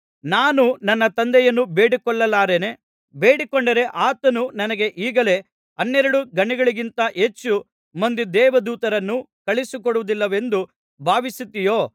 ನಾನು ನನ್ನ ತಂದೆಯನ್ನು ಬೇಡಿಕೊಳ್ಳಲಾರೆನೆ ಬೇಡಿಕೊಂಡರೆ ಆತನು ನನಗೆ ಈಗಲೇ ಹನ್ನೆರಡು ಗಣಗಳಿಗಿಂತ ಹೆಚ್ಚು ಮಂದಿ ದೇವದೂತರನ್ನು ಕಳುಹಿಸಿಕೊಡುವುದಿಲ್ಲವೆಂದು ಭಾವಿಸುತ್ತೀಯೋ